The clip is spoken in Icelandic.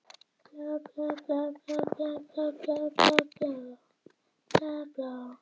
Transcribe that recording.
Hafsteinn svarar og margar raddir hrópa einum rómi, að það sé hárrétt.